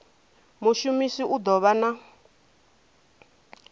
mushumisi u ḓo vha na